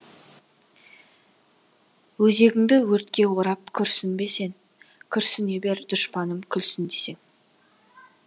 өзегіңді өртке орап күрсінбе сен күрсіне бер дұшпаным күлсін десең